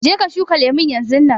Je ka shuka lemun yanzunnan.